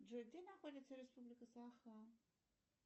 джой где находится республика саха